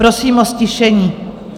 Prosím o ztišení.